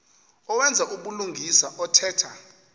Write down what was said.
owenza ubulungisa othetha